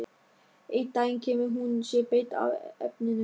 Einn daginn kemur hún sér beint að efninu.